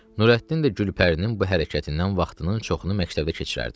Nurəddin də Gülpərinin bu hərəkətindən vaxtının çoxunu məktəbdə keçirərdi.